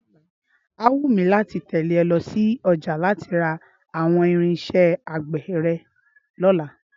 Á wù mí láti tẹ̀lé ọ lọ sí ọjà láti ra àwọn irinṣẹ́ àgbè rẹ̀ lọ́la